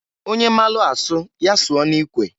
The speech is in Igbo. Onye maalụ asụ ya sụọ n'ikwe.